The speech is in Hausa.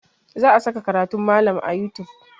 Za a saka karatun malam a youtube.